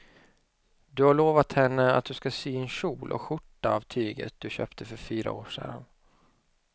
Du har lovat henne att du ska sy en kjol och skjorta av tyget du köpte för fyra år sedan.